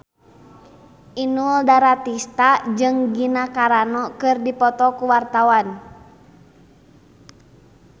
Inul Daratista jeung Gina Carano keur dipoto ku wartawan